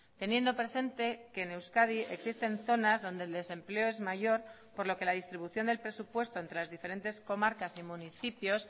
teniendo presente que en euskadi existen zonas donde el desempleo es mayor por lo que la distribución del presupuesto entre las diferentes comarcas y municipios